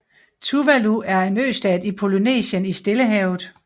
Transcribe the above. Tuvalu er en østat i Polynesien i Stillehavet